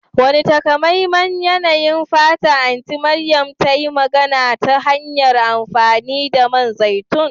Wane takamaiman yanayin fata Anti Mariam ta yi magana ta hanyar amfani da man zaitun?